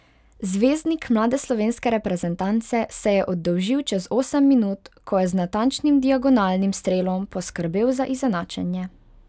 Zvezdnik mlade slovenske reprezentance se je oddolžil čez osem minut, ko je z natančnim diagonalnim strelom poskrbel za izenačenje.